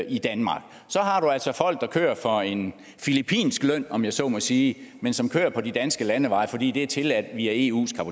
i danmark så har du altså folk der kører for en filippinsk løn om jeg så må sige men som kører på de danske landeveje fordi det er tilladt via eus